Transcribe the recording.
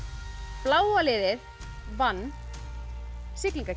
bláa liðið vann